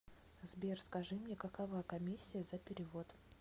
сбер скажи мне какова коммисия за перевод